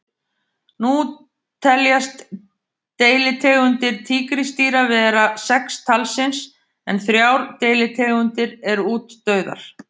Nú teljast deilitegundir tígrisdýra vera sex talsins en þrjár deilitegundir eru útdauðar.